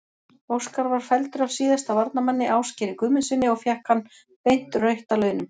Óskar var felldur af síðasta varnarmanni, Ásgeiri Guðmundssyni og fékk hann beint rautt að launum.